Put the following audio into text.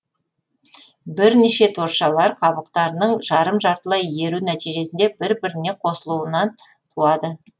бірнеше торшалар қабықтарының жарым жартылай еру нәтижесінде бір біріне қосылуынан туады